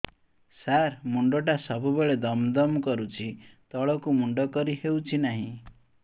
ସାର ମୁଣ୍ଡ ଟା ସବୁ ବେଳେ ଦମ ଦମ କରୁଛି ତଳକୁ ମୁଣ୍ଡ କରି ହେଉଛି ନାହିଁ